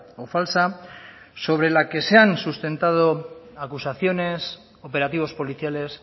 o falsa sobre la que se han sustentado acusaciones operativos policiales